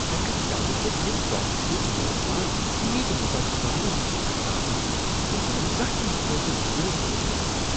X چینلہ پیٹھ چھ یم ٹاک شو میزبان تیتۍ متعصبانہ، یہ چھ کھران۔ تم چھ نہٕ زانٛہہ تہٕ متوازن نظریہٕ پیش کران۔